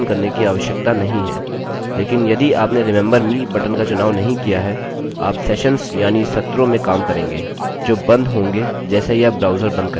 लेकिन यदि आपने remember me बटन का चुनाव नहीं किया है आप सेशन्स यानि सत्रों में काम करेंगे जो बंद होंगे जैसे ही आप ब्राउज़र बंद करेंगे